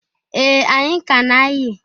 Ee! Anyị ka a na-ayị.